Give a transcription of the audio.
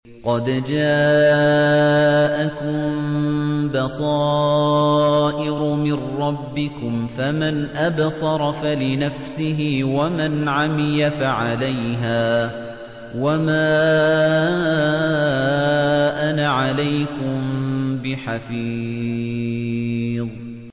قَدْ جَاءَكُم بَصَائِرُ مِن رَّبِّكُمْ ۖ فَمَنْ أَبْصَرَ فَلِنَفْسِهِ ۖ وَمَنْ عَمِيَ فَعَلَيْهَا ۚ وَمَا أَنَا عَلَيْكُم بِحَفِيظٍ